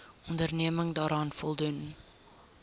onderneming daaraan voldoen